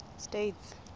states